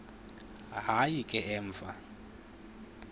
hayi ke emva